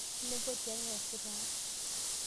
Inepua tiaang' easita aa?